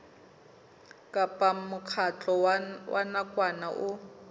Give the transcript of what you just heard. kapa mokgatlo wa nakwana o